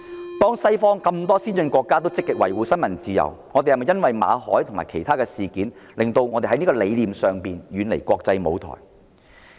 當多個西方先進國家積極維護新聞自由，我們是否任由馬凱及其他事件，令香港在理念上遠離國際舞台？